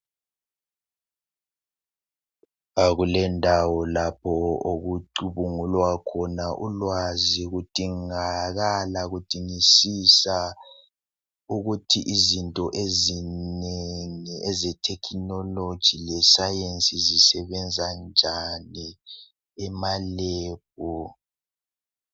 Kulendawo lapho okucubungulwa khona ulwazi kudingakala kudingisisa ukuthi izinto ezinengi eze technology lescience zisebenza njani amalebhu.